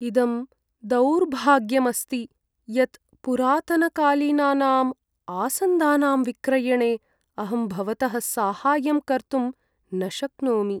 इदं दौर्भाग्यम् अस्ति यत् पुरातनकालीनानां आसन्दानां विक्रयणे अहं भवतः साहाय्यं कर्तुं न शक्नोमि।